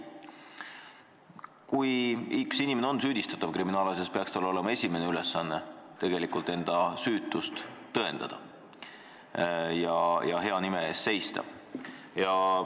Kui inimene on kriminaalasjas süüdistatav, peaks tema esimene ülesanne olema enda süütust tõendada ja oma hea nime eest seista.